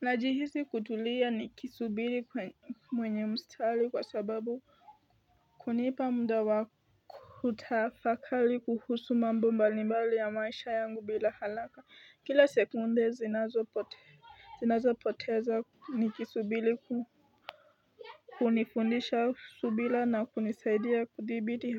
Najihisi kutulia nikisubiri mwenye mstari kwa sababu kunipa mda wa kutafakari kuhusu mambo mbalimbali ya maisha yangu bila haraka Kila sekunde zinazopoteza nikisubiri kunifundisha subira na kunisaidia kudhibiti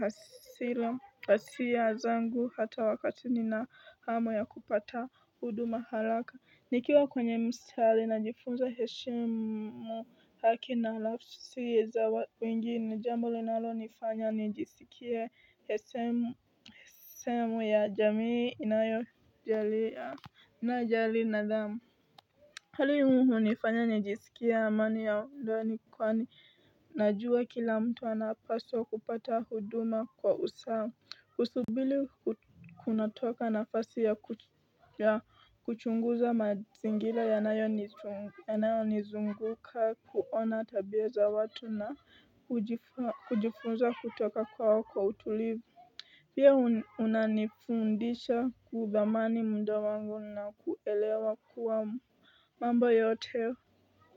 hasira zangu hata wakati nina hamu ya kupata huduma haraka Nikiwa kwenye mstarii najifunza heshimu haki na nafsi za wengine jambo linalonifanya nijisikie sehemu ya jamii inayojali nidhamu Hali hii hunifanya nijisikia amani ya ndani kwani najua kila mtu anapaswa kupata huduma kwa usamu Usubiri kunatoka nafasi ya kuchunguza mazingira yanayonizunguka kuona tabia za watu na kujifunza kutoka kwa wako utulivu Pia unanifundisha kuthamani mda wangu na kuelewa kuwa mambo yote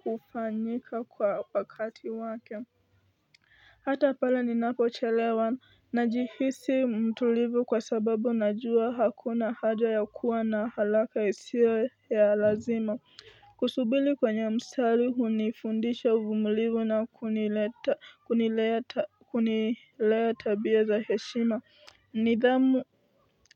hufanyika kwa wakati wake Hata pala ni napochelewa najihisi mtulivu kwa sababu najua hakuna haja ya kuwa na haraka isiyo ya lazima Kusubiri kwenye mstari hunifundisha uvumulivu na kuniletea tabia za heshima nidhamu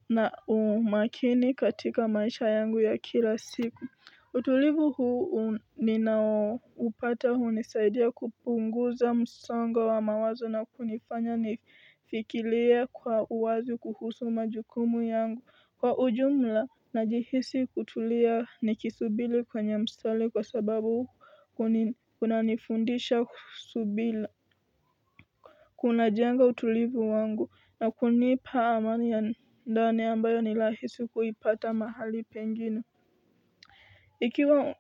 na umakini katika maisha yangu ya kila siku utulivu huu ninaupata hunisaidia kupunguza msango wa mawazo na kunifanya nifikirie kwa uwazi kuhusu majukumu yangu kwa ujumla najihisi kutulia nikisubiri kwenye mstari kwa sababu huu kunanifundisha subira. Kuna jenga utulivu wangu na kunipa amani ya ndani ambayo nirahisi kuipata mahali pengine. Ikiwa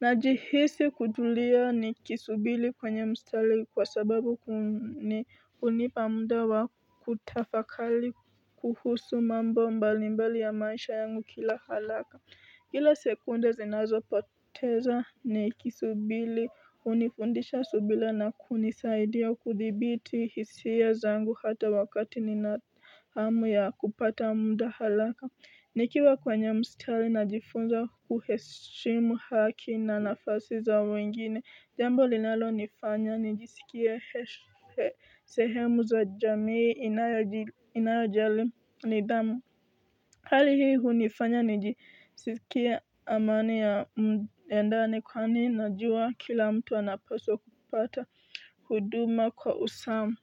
najihisi kutulia nikisubiri kwenye mstari kwa sababu kunipa muda wa kutafakari kuhusu mambo mbalimbali ya maisha yangu kila haraka Kila sekunda zinazo poteza nikisubiri hunifundisha subira na kunisaidia kuthibiti hisia zangu hata wakati nina hamu ya kupata muda haraka Nikiwa kwenye mstari najifunza kuheshimu haki na nafasi za wengine. Jambo linalonifanya nijisikie sehemu za jamii inayojali nidhamu Hali hii hunifanya nijisikie amani ya mtendani kwa ninajuwa kila mtu anapaswa kupata huduma kwa usamu.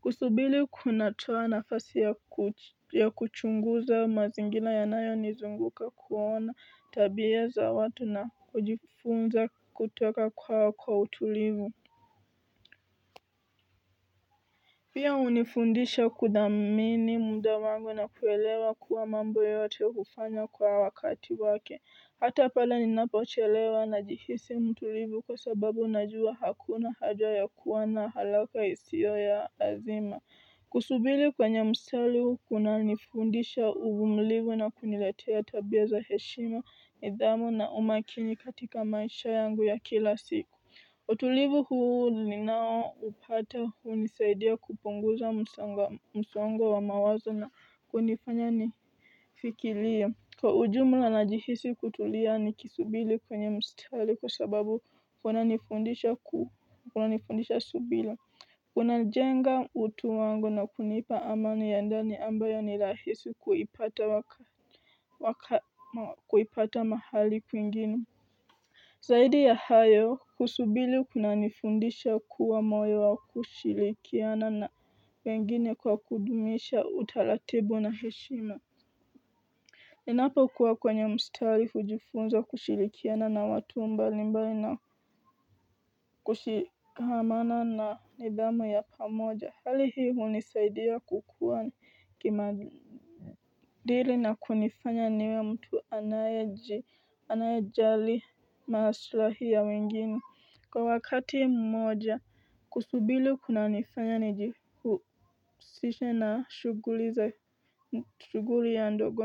Kusubiri kunatoa nafasi ya kuchunguza mazingira ya nayo nizunguka kuona tabia za watu na kujifunza kutoka kwao kwa utulivu pia hunifundisha kudhamini muda wangu na kuelewa kuwa mambo yote hufanya kwa wakati wake hata pale ninapochelewa najihisi mtulivu kwa sababu najua hakuna haja ya kuwana haraka isiyo ya azima Kusubiri kwenye mstari kuna nifundisha uuvumilivu na kuniletea tabia za heshima, nidhamu na umakini katika maisha yangu ya kila siku utulivu huu ninaoupata hunisaidia kupunguza msongo wa mawazo na kunifanya nifikiria Kwa ujumla najihisi kutulia ni kisubiri kwenye mstari kwa sababu kuna nifundisha subira Unajenga utu wangu na kunipa amani ya ndani ambayo ni rahisi kuipata mahali kwingine Zaidi ya hayo kusubiri kunanifundisha kuwa moyo wa kushirikiana na wengine kwa kudumisha utaratibu na heshima Ninapokuwa kwenye mstari hujifunza kushirikiana na watu mbalimbali na kushikamana na nidhamu ya pamoja hali hii hunisaidia kukuwa kimadili na kunifanya niwe mtu anaye kujali maslahii ya wengine Kwa wakati mmoja kusubiri kunanifanya nijihusishe na shughuli ya ndogoni.